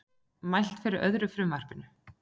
Mælt fyrir öðru frumvarpinu